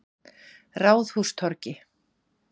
Ráðhústorgi